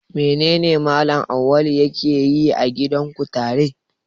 Menene Mallam Awwalu yake yi a gidan kutare?